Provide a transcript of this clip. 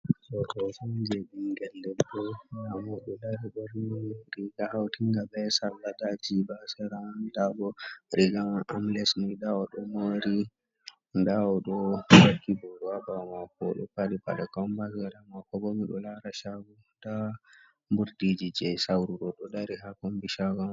Ɗo hoto on je ɓingel debbo nda mo oɗo dari ɓorni riga hawtinga be sarla nda jiɓa ha sera, nda bo riga man amles ni, nda oɗo mori, nda oɗo vakki boro ha ɓawo mako, oɗo faɗɗi paɗe combas sera mako bo miɗo lara shago nda ɓurɗi ji je sawru ɗo, ɗo dari ha kombi shago.